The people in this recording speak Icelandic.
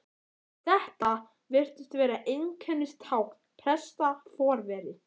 Þetta virtist vera einkennistákn presta, forveri